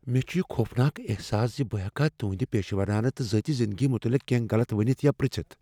مےٚ چھ یہ خوفناک احساس ز بہٕ ہیکا تہنٛدِ پیشورانہٕ تہٕ ذٲتی زندگی متعلق کینٛہہ غلط ؤنتھ یا پِرژِتھ۔